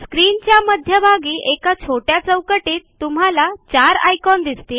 स्क्रीनच्या मध्यभागी एका छोट्या चौकटीत तुम्हाला चार आयकॉन दिसतील